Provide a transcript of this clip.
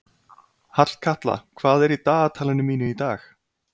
Hallkatla, hvað er í dagatalinu mínu í dag?